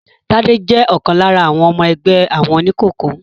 Tádé jẹ́ ọ̀kan lára àwọn ọmọ ẹgbẹ́ àwọn oníkòkó